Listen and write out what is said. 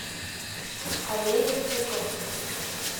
аллея цветов